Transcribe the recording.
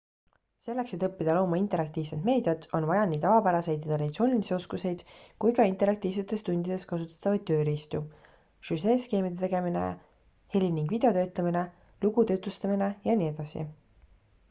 selleks et õppida looma interaktiivset meediat on vaja nii tavapäraseid ja traditsioonilisi oskuseid kui ka interaktiivsetes tundides kasutatavaid tööriistu süžeeskeemide tegemine heli- ning videotöötlemine lugude jutustamine jne